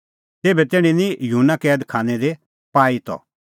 तेभै तैणीं निं युहन्ना कैद खानै दी पाई त